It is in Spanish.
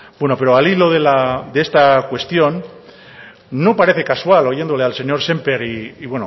bueno pero al hilo de esta cuestión no parece casual oyéndole al señor sémper y